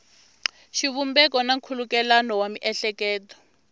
xivumbeko na nkhulukelano wa miehleketo